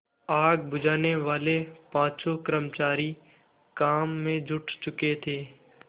आग बुझानेवाले पाँचों कर्मचारी काम में जुट चुके थे